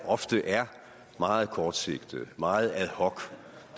ofte er meget kortsigtet meget ad hoc